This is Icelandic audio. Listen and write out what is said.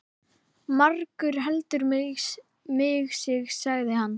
Margur heldur mig sig, sagði hann.